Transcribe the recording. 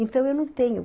Então, eu não tenho.